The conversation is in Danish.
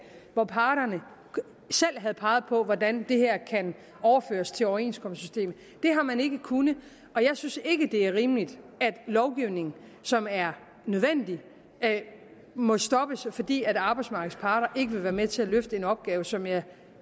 hvor parterne selv havde peget på hvordan det her kan overføres til overenskomstsystemet det har man ikke kunnet og jeg synes ikke det er rimeligt at lovgivning som er nødvendig må stoppes fordi arbejdsmarkedets parter ikke vil være med til at løfte en opgave som jeg